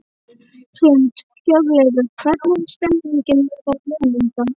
Hrund: Hjörleifur, hvernig er stemningin meðal nemenda?